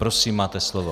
Prosím, máte slovo.